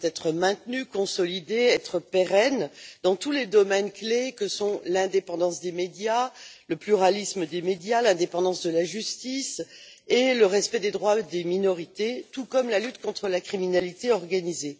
Elles doivent être maintenues, consolidées et pérennes dans tous les domaines clés que sont l'indépendance et le pluralisme des médias, l'indépendance de la justice, le respect des droits des minorités ainsi que la lutte contre la criminalité organisée.